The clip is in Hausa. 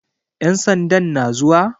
Ƴan sandan na zuwa?